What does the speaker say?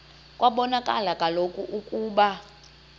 kwabonakala kaloku ukuba